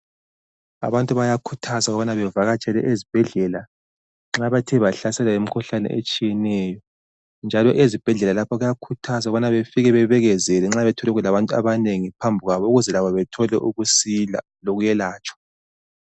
Abantu bayakhuthazwa ukubana bevakatshele ezibhadlela nxa bethe bahlaselwa yimikhuhlane etshiyeneyo. Njalo, ezibhedlela lapho bayakhuthazwa ukubana befike babekezele nxa bethole kulabantu abanengi phambi kwabo, ukuze labo bethole ukusila lokuyelatshwa.